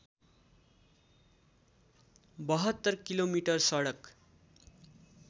७२ kilometre सडक